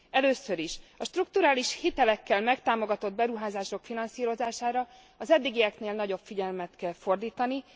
Először is, a strukturális hitelekkel megtámogatott beruházások finanszírozására az eddigieknél nagyobb figyelmet kell fordítani.